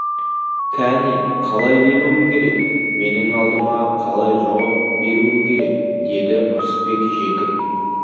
кәне қалай келуің керек менің алдыма қалай жауап беруің керек деді ырысбек жекіп